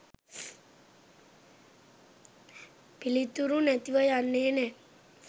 පිළිතුරු නැතිව යන්නේ නෑ